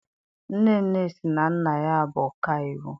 Nnenne sị na nna ya bụ ọkaiwu.